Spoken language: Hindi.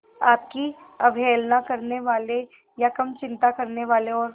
आपकी अवहेलना करने वाले या कम चिंता करने वाले और